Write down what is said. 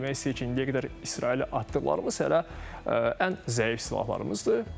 Yəni demək istəyir ki, indiyə qədər İsrailə atdıqlarımız hələ ən zəif silahlarımızdır.